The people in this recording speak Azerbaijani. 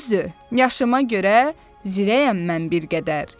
Düzdür, yaşıma görə, zirəyəm mən bir qədər.